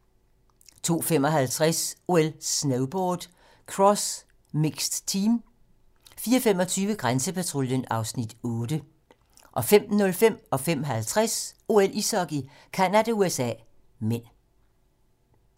02:55: OL: Snowboard - cross mixed team 04:25: Grænsepatruljen (Afs. 8) 05:05: OL: Ishockey - Canada-USA (m) 05:50: OL: Ishockey - Canada-USA (m)